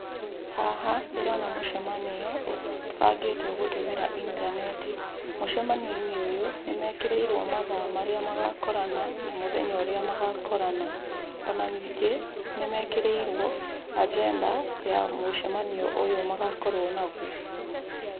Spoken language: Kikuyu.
Haha ndĩrona mũcemanio ũbangĩtwo gũtũmĩra intaneti. Mũcemanio-inĩ ũyũ nĩmekĩrĩirwo mathaa marĩa magakorana na mũthenya ũrĩa magakorana. Ona ningĩ nmekĩrĩirwo anjenda ya mũcemanio ũyũ magakorwo naguo.